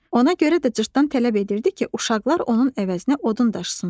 Ona görə də cırtdan tələb edirdi ki, uşaqlar onun əvəzinə odun daşısınlar.